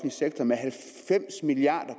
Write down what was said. sektor med halvfems milliard